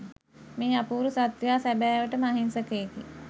මේ අපූරු සත්වයා සැබෑවටම අහිංසකයෙකි